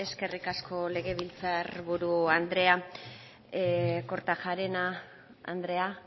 eskerrik asko legebiltzar buru andrea kortajarena andrea